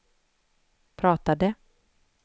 pratade